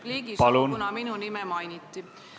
Repliigisoov, kuna minu nime mainiti.